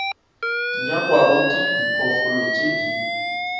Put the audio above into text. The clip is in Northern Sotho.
nyakwago ke diphoofolo tše di